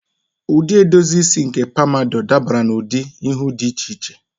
Ụdị edozi isi nke pompadour dabara n'ụdị ihu dị iche iche.